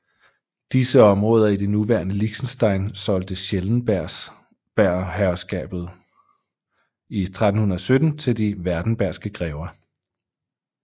Disse områder i det nuværende Liechtenstein solgte Schellenbergherskabet i 1317 til de werdenbergske grever